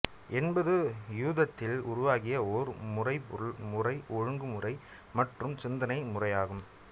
என்பது யூதத்தில் உருவாகிய ஓர் மறைபொருள் முறை ஒழுங்குமுறை மற்றும் சிந்தனை முறையாகும்